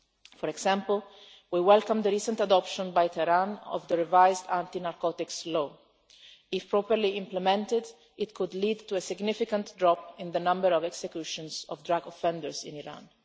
For example, we welcome the recent adoption by Tehran of the revised anti-narcotics law. If properly implemented, it could lead to a significant drop in the number of executions of drug offenders in Iran.